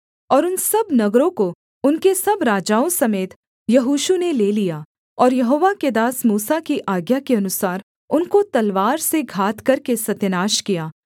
और उन सब नगरों को उनके सब राजाओं समेत यहोशू ने ले लिया और यहोवा के दास मूसा की आज्ञा के अनुसार उनको तलवार से घात करके सत्यानाश किया